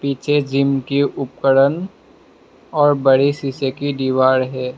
पीछे जिम के उपरन और बड़ी शीशे की दीवार है।